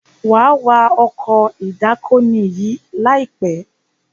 wà wá Ọkọ̀ ìdákoní yí láìpé!